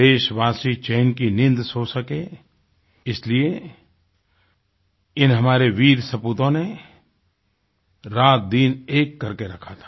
देशवासी चैन की नींद सो सकें इसलिए इन हमारे वीर सपूतों ने रातदिन एक करके रखा था